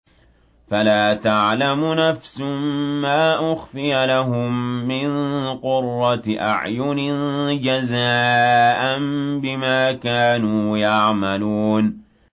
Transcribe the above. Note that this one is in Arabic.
فَلَا تَعْلَمُ نَفْسٌ مَّا أُخْفِيَ لَهُم مِّن قُرَّةِ أَعْيُنٍ جَزَاءً بِمَا كَانُوا يَعْمَلُونَ